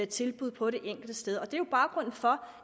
tilbud på det enkelte sted og det er jo baggrunden for